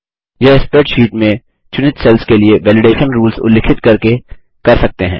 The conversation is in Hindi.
यह स्प्रेडशीट में चुनित सेल्स के लिए वैलिडेशन रूल्स उल्लिखित करके कर सकते हैं